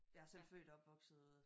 Jeg er selv født og opvokset